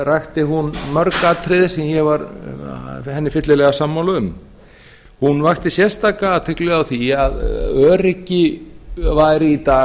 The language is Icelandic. rakti hún mörg atriði sem ég var henni fyllilega sammála um hún vakti sérstaka athygli á því að öryggi væri í dag